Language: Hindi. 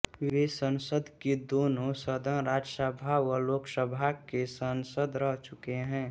वे संसद के दोनोँ सदन राज्यसभा व लोकसभा के सांसद रह चुके हैं